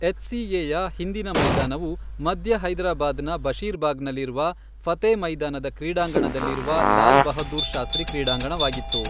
HCA ಯ ಹಿಂದಿನ ಮೈದಾನವು ಮಧ್ಯ ಹೈದರಾಬಾದ್ನ ಬಶೀರ್ಬಾಗ್ನಲ್ಲಿರುವ ಫತೇ ಮೈದಾನದ ಕ್ರೀಡಾಂಗಣದಲ್ಲಿರುವ ಲಾಲ್ ಬಹದ್ದೂರ್ ಶಾಸ್ತ್ರಿ ಕ್ರೀಡಾಂಗಣವಾಗಿತ್ತು.